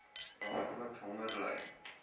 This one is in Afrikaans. daagliks honger ly